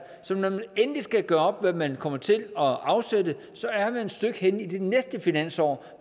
så når man endeligt skal gøre op hvad man kommer til at afsætte så er man et stykke henne i den næste finanslov